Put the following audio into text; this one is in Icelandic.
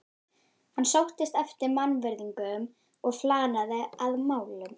Hann sóttist eftir mannvirðingum og flanaði að málum.